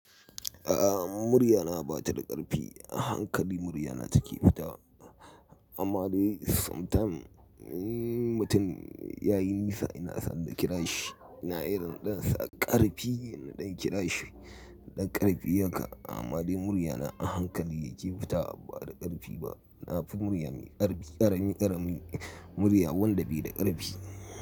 A'a murya na ba ta da ƙarfi. Hankalin murya na take fita. Amma dai sometimes mutum ya yi nisa ina san da kirashi ina irin ɗansa ƙarfi ina ɗan kirashi ɗan ƙarfi yake. Amma dai murya na hankali yake fita ba da ƙarfi ba. Na fi murya mai ƙarfi ƙarami ƙarami murya wanda bai da ƙarfi.